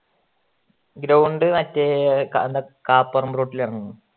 ground മറ്റേ കപ്പറമ്പ് റോട്ടില് വരണം